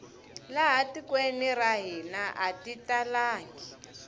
laha tikweni ra hina ati talangi